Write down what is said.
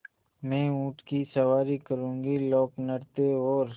मैं ऊँट की सवारी करूँगी लोकनृत्य और